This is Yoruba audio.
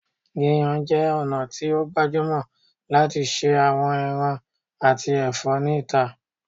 Yiyan jẹ ọna ti o gbajumọ lati ṣe awọn ẹran ati ẹfọ ni ita